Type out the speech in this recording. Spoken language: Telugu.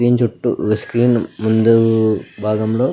స్క్రీన్ చుట్టు స్క్రీన్ ముందు భాగంలో --